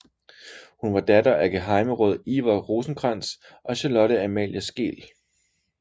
Hun var datter af gehejmeråd Iver Rosenkrantz og Charlotte Amalie Skeel